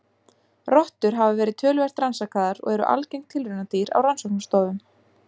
Rottur hafa verið töluvert rannsakaðar og eru algeng tilraunadýr á rannsóknastofum.